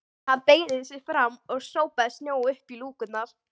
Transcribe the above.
Hann beygði sig fram og sópaði snjó upp í lúkurnar.